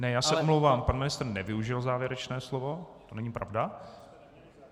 Ne, já se omlouvám, pan ministr nevyužil závěrečné slovo, to není pravda.